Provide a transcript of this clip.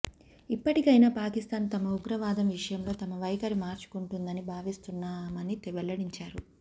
ఇప్పటికైనా పాకిస్థాన్ తమ ఉగ్రవాదం విషయంలో తమ వైఖరి మార్చుకుంటుందని భావిస్తున్నామని వెల్లడించారు